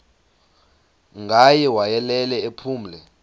ngaye wayelele ephumle